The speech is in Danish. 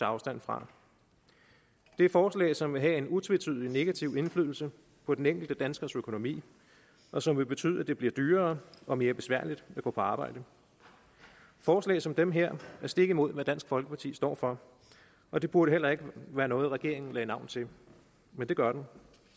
afstand fra det er forslag som vil have en utvetydig negativ indflydelse på den enkelte danskers økonomi og som vil betyde at det vil blive dyrere og mere besværligt at gå på arbejde forslag som dem her er stik imod hvad dansk folkeparti står for og det burde heller ikke være noget regeringen lagde navn til men det gør den